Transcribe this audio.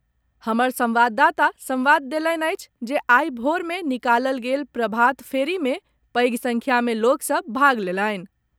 हमर संवाददाता संवाद देलनि अछि जे आइ भोरमे निकालल गेल प्रभात फेरी मे पैघ संख्या में लोक सभ भाग लेलनि।